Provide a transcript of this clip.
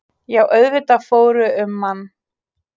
Já auðvitað fór um mann.